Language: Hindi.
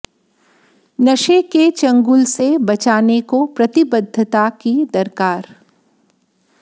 नशे के चंगुल से बचाने को प्रतिबद्धता की दरकार